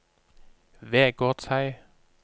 Vegårshei